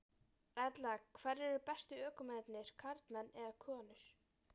Erla: Hverjir eru bestu ökumennirnir, karlmenn eða konur?